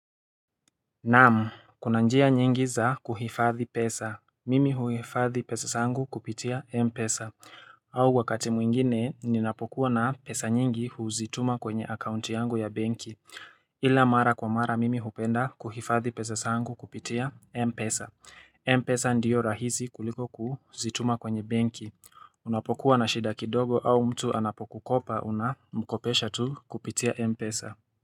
Naamu Kuna njia nyingi za kuhifadhi pesa Mimi huifadhi pesa zangu kupitia M pesa au wakati mwingine ninapokuwa na pesa nyingi huzituma kwenye akaunti yangu ya benki Ila mara kwa mara mimi hupenda kuhifadhi pesa sangu kupitia M pesa M pesa ndiyo rahizi kuliko kuzituma kwenye benki Unapokuwa na shida kidogo au mtu anapokukopa una mkopesha tu kupitia M pesa.